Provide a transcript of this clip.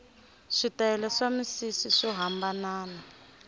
switayele swa misisi swo hambanana